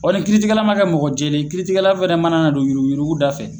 Ɔ ni kiiritigɛla ma kɛ mɔgɔ jɛlen ye kiiritigɛla fɛnɛ mana na don yurukuyuruku dafɛ